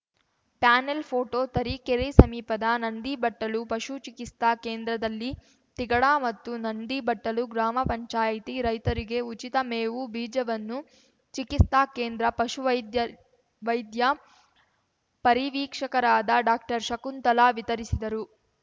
panel photo Tarikere ಸಮೀಪದ ನಂದಿಬಟ್ಟಲು ಪಶು ಚಿಕಿಸ್ತಾ ಕೇಂದ್ರದಲ್ಲಿ ತಿಗಡ ಮತ್ತು ನಂದಿಬಟ್ಟಲು ಗ್ರಾಮ ಪಂಚಾಯತಿ ರೈತರಿಗೆ ಉಚಿತ ಮೇವು ಬೀಜವನ್ನು ಚಿಕಿಸ್ತಾ ಕೇಂದ್ರ ಪಶು ವೈದ್ಯ ವೈದ್ಯ ಪರಿವೀಕ್ಷಕರಾದ ಡಾಕ್ಟರ್ಶಕುಂತಲಾ ವಿತರಿಸಿದರು